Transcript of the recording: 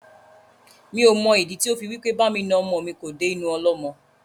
Mi ò mọ ìdí tí ó fi wí pé bá mi na ọmọ mi kò dé inú ọlọ́mọ.